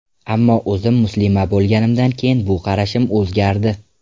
Ammo o‘zim muslima bo‘lganimdan keyin bu qarashim o‘zgardi.